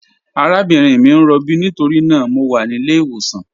Àràbìnrin mi n rọ̀bí nítorína mọ̀ wà ní ilẹ̀-ìwọsàn.